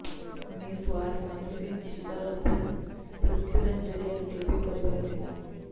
miss world Manushi Chhillar film Prithviraj ଜରିଆରେ debut କରିବାର ଥିଲା